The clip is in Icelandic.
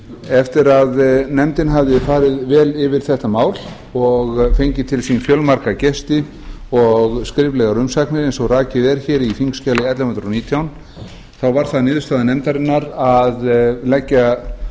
eftir að nefndin hafði farið vel yfir þetta mál og fengið til sín fjölmarga gesti og skriflegar umsagnir eins og rakið er hér í þingskjali ellefu hundruð og nítján þá var það niðurstaða nefndarinnar að leggja